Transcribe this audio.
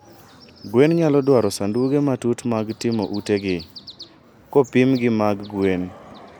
Gweng' nyalo dwaro sanduge matut mag timo utegi, kopim gi mag gwen.